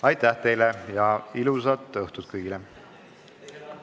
Aitäh teile ja ilusat õhtut kõigile!